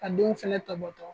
Ka denw fɛnɛ tɔbɔtɔ.